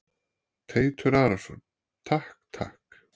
Teitur Arason: Takk takk.